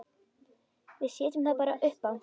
Við setjum það bara uppá.